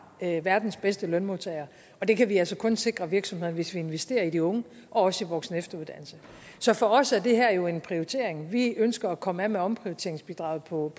verdens bedste lønmodtagere og det kan vi altså kun sikre virksomhederne hvis vi investerer i de unge og også i voksenefteruddannelse så for os er det her jo en prioritering vi ønsker at komme af med omprioriteringsbidraget på